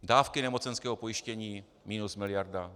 Dávky nemocenského pojištění minus miliarda.